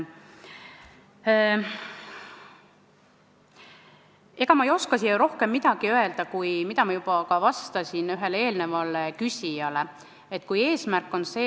Ega ma ei oska siin öelda rohkem, kui ma juba ühele eelnevale küsijale vastasin.